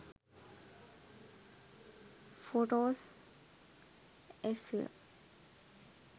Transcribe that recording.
photos sl